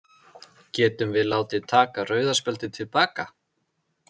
Getum við látið taka rauða spjaldið til baka?